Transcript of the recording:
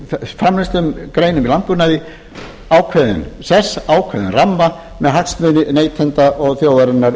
þessum framleiðslugreinum í landbúnaði ákveðinn sess ákveðinn ramma þar sem hagsmunir neytenda og þjóðarinnar